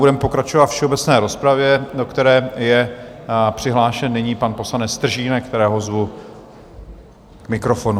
Budeme pokračovat ve všeobecné rozpravě, do které je přihlášen nyní pan poslanec Stržínek, kterého zvu k mikrofonu.